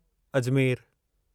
अजमेरु